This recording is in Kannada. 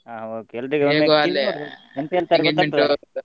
ಹ okay .